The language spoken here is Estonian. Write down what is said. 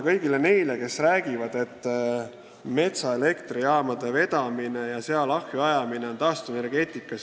Paljud räägivad, et metsa elektrijaama vedamine ja seal ahju ajamine on taastuvenergeetika.